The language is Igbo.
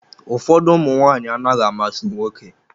Ụfọdụ ụmụ nwanyị anaghị amasị nwoke.